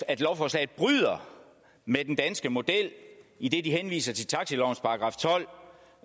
at lovforslaget bryder med den danske model idet de henviser til taxalovens § tolv